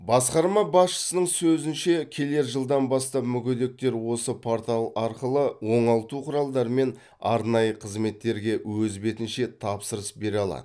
басқарма басшысының сөзінше келер жылдан бастап мүгедектер осы портал арқылы оңалту құралдары мен арнайы қызметтерге өз бетінше тапсырыс бере алады